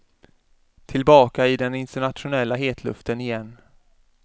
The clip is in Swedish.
Tillbaka i den internationella hetluften igen.